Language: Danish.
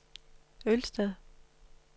Ølsted